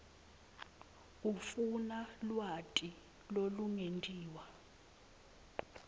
ufuna lwati lolungetiwe